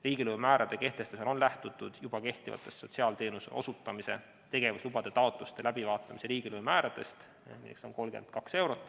Riigilõivumäärade kehtestamisel on lähtutud juba kehtivatest sotsiaalteenuse osutamise tegevuslubade taotluste läbivaatamise riigilõivumääradest .